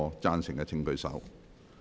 贊成的請舉手。